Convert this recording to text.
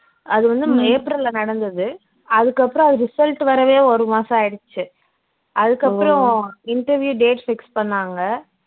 அது வந்து ஏப்ரல்ல நடந்தது அதுக்கு அப்பறம் அது result வரவே ஒரு மாசம் ஆயிடுச்சு அதுக்கு அப்பறம் interview date fix பண்ணாங்க